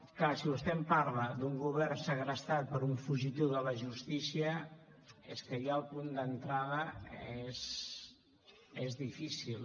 clar si vostè em parla d’un govern segrestat per un fugitiu de la justícia és que ja el punt d’entrada és difícil